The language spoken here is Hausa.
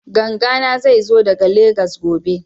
Ganga na zai zo daga Legas gobe